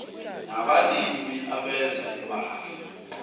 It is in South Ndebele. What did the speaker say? nabalimi abenza imali